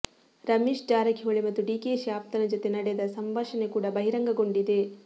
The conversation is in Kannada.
ರಮೇಶ್ ಜಾರಕಿಹೊಳಿ ಮತ್ತು ಡಿಕೆಶಿ ಆಪ್ತನ ಜೊತೆ ನಡೆದ ಸಂಭಾಷಣೆ ಕೂಡ ಬಹಿರಂಗಗೊಂಡಿದೆ